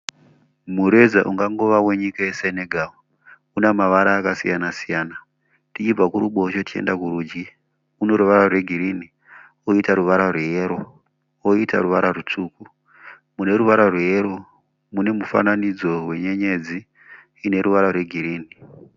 Mureza ungangova wenyika yeSenegal una mavara akasiyana siyana tichibva kuruboshwe tichienda kurudyi uno ruvara rwegirini koita ruvara rweyero koita ruvara rutsvuku mune ruvara rweyero mune mufananidzo wenyenyedzi ine ruvara rwegirini.